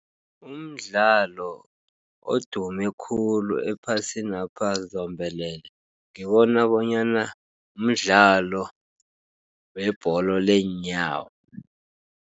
Umdlalo odume khulu ephasinapha zombelele, ngibona bonyana mdlalo webholo leenyawo.